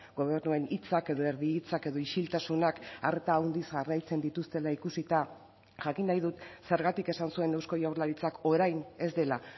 gobernuen hitzak edo erdi hitzak edo isiltasunak arta handiz jarraitzen dituztela ikusita jakin nahi dut zergatik esan zuen eusko jaurlaritzak orain ez dela